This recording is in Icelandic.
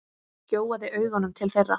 Gjóaði augunum til þeirra.